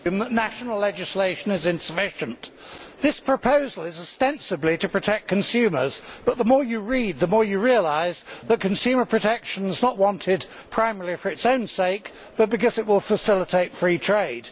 Mr President, given that national legislation is insufficient, this proposal is ostensibly to protect consumers. Yet the more you read, the more you realise that consumer protection is not wanted primarily for its own sake but because it will facilitate free trade.